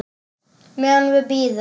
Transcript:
Meðan við bíðum.